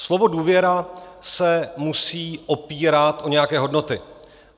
Slovo důvěra se musí opírat o nějaké hodnoty.